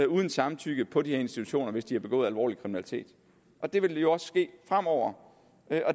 uden samtykke på de her institutioner hvis de har begået alvorlig kriminalitet og det vil jo også ske fremover